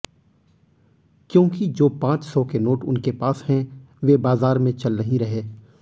क्योंकि जो पांच सौ के नोट उनके पास हैं वे बाजार में चल नहीं रहे